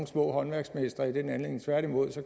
små håndværksmestre i den anledning tværtimod